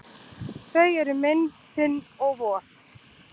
Þau eru minn, þinn og vor.